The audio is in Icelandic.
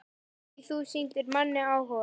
Því þú sýndir manni áhuga.